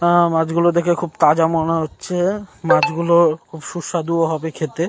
আ- মাছগুলো দেখে খুব তাজা মনে হচ্ছে। মাছগুলো সুস্বাদু হবে খেতে।